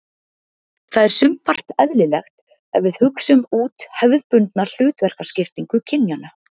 Það er sumpart eðlilegt ef við hugsum út hefðbundna hlutverkaskiptingu kynjanna.